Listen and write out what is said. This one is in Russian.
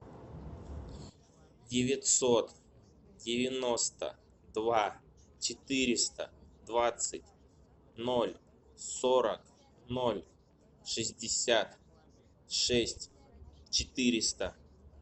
девятьсот девяносто два четыреста двадцать ноль сорок ноль шестьдесят шесть четыреста